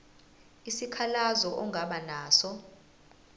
isikhalazo ongaba naso